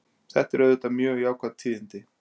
Þetta eru auðvitað mjög jákvæð tíðindi